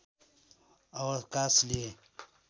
अवकाश लिए